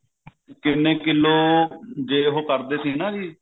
ਕਿੰਨੇ ਕਿਲੋ ਜੇ ਉਹ ਕਰਦੇ ਸੀ ਨਾ ਜੀ